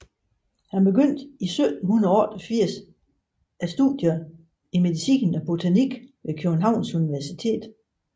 Han påbegyndte i 1788 studier i medicin og botanik ved Københavns Universitet